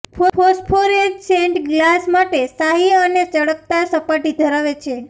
phosphorescent glass માટે શાહી અને ચળકતા સપાટી ધરાવે છે